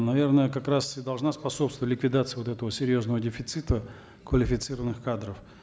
наверное как раз и должна способствовать ликвидации вот этого серьезного дефицита квалифицированных кадров